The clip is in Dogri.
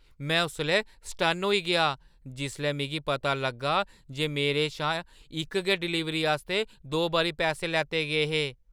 में उसलै सटन्न होई गेआ जिसलै मिगी पता लग्गा जे मेरे शा इक गै डलीवरी आस्तै दो बारी पैसे लैते गे हे!